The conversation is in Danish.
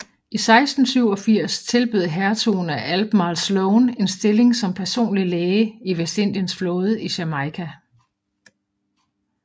I 1687 tilbød Hertugen af Albemarle Sloane en stilling som personlig læge i Vestindiens flåde i Jamaica